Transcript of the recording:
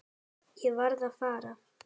Ég verð að fara.